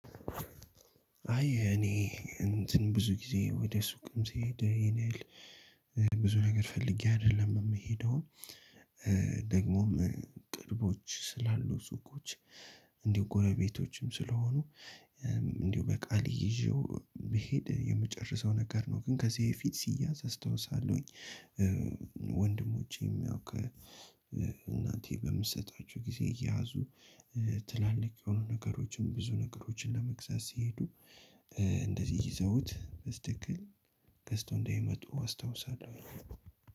አይ እኔ እንትን ብዙ ጊዜ ወደ ሱቅም ስሄድ የኔን ብዙ ነገር ፈልጌ አይደለም የምሄደው ደግሞም ቅርቦች ስላሉ ሱቆች ጎረቤቶችም ስለሆኑ እንዲሁ በቃል ይዤው ስሄድ የምጨርሰው ነገር ነው ግን ከዚህ የፊት ሲያዝ አስታውሳለሁኝ። ወንድሞቼም ያው ከእናንቴ በምትሰጣቸው ጊዜ እያዙ ትላልቅ የሆኑ ነገሮችን ብዙ ነገሮችን ለመግዛት ሲሄዱ እንደዚህ ይዘውት በስትክክል ገዝተው እንደምመጡ አስታውሳለሁ።